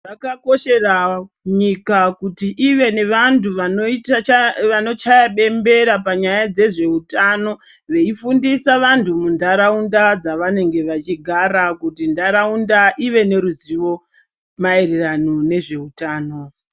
Zvakakoshera nyika kuti ive nevantu vano chaya bembera panyaya yedze zveutano veifundisa vanhu mundaraunda dzavanenge vechigara kuti ndaraunda ive neruziwo maererano nezve utano.